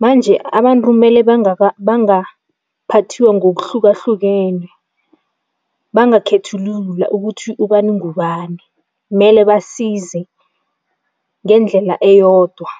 manje abantu mele bangaphathiwa ngokuhlukahlukene, bangakhethululwa ukuthi ubani ngubani, mele basize ngendlela eyodwa.